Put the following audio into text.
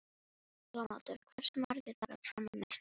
Dómaldur, hversu margir dagar fram að næsta fríi?